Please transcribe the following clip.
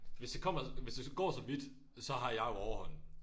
Hvis det kommer hvis det går så vidt så har jeg jo overhånden